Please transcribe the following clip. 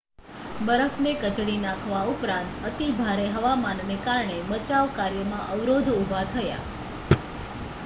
બરફને કચડી નાખવા ઉપરાંત અતિભારે હવામાનને કારણે બચાવ કાર્યમાં અવરોધ ઉભા થયા